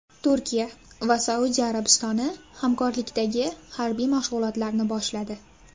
Turkiya va Saudiya Arabistoni hamkorlikdagi harbiy mashg‘ulotlarni boshladi.